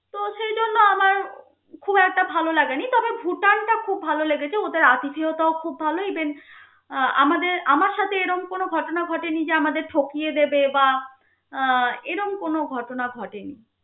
একটা ভাল লাগেনি তবে ভুটানটা খুব ভাল লেগেছে. ওদের আতিথিয়তাও খুব ভাল even আমাদের আমার সাথে এরম কোনো ঘটনা ঘটেনি, যে আমাদের ঠকিয়ে দেবে বা আহ এরম কোনো ঘটনা ঘটেনি.